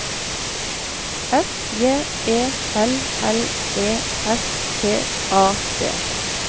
F J E L L E S T A D